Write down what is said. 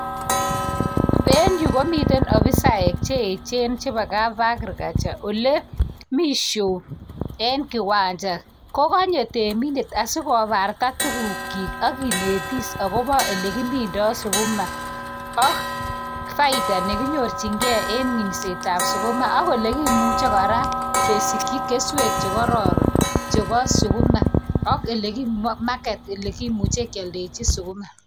Eng yun komiten ofisaek che echen chebo kap Agriculture ole mi show eng kiwanja ko kanyo temindet asi kobarta tukuknyi ak kinetis akobo ole kimindoi sukuma ak faida ne kinyorjingei eng minsetab sukuma ak ole kimuchi kora kesikji keswek che kororon chebo sukuma ak ole market ole kimuchi kealdeji sukuma.